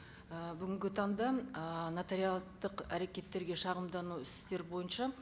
ы бүгінгі таңда ы нотариаттық әрекеттерге шағымдану істер бойынша